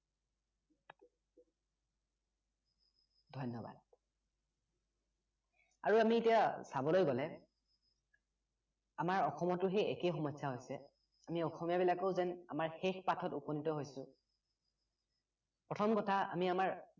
ধন্য়বাদ আৰু আমি এতিয়া চাবলৈ গলে আমাৰ অসমতো সেই একেই সমস্য়া হৈছে আমি অসমীয়া বিলাকো যেন আমাৰ শেষ পাঠত উপনীত হৈছোঁ প্ৰথম কথা আমি আমাৰ